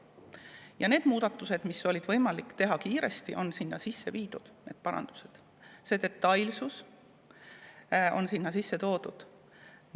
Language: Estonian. Need muudatused, need parandused, mida oli võimalik teha kiiresti, on sinna sisse viidud, see detailsus on sinna sisse viidud.